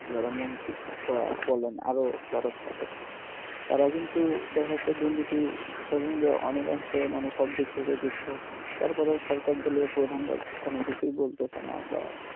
যারা মন্ত্রি বা বলেন আরও যারা থাকে তারা কিন্তু দেখাচ্ছে দুর্নীতি সঙ্গে অনেক মানুষ সব দিক থেকে যুক্ত হচ্ছে তারপরেও সরকার দলীয় প্রধানরা কোনও কিছুই বলতেসেনা বা